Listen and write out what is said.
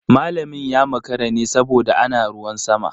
Malamin ya makara ne saboda ana ruwan sama.